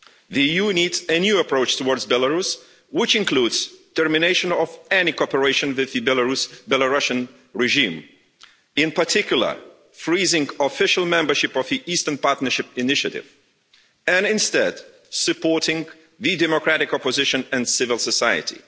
The EU needs a new approach towards Belarus which includes termination of any cooperation with the Belarusian regime, in particular freezing official membership of the Eastern Partnership initiative, and, instead, supporting the democratic opposition and civil society.